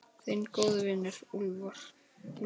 Þinn góði vinur, Úlfur.